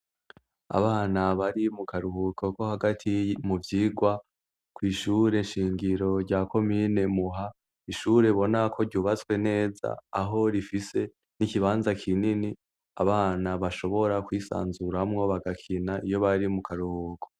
Abana bari mu karuhuko ko hagati mu vyirwa kw'ishure nshingiro rya ko mine muha ishure bonako ryubatswe neza aho rifise n'ikibanza kinini abana bashobora kwisanzuramwo bagakina iyo bari mu karoko.